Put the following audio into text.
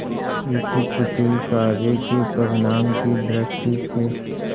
इस कुटिल कार्य के परिणाम की दृष्टि से